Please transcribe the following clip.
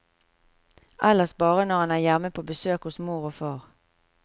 Ellers bare når han er hjemme på besøk hos mor og far.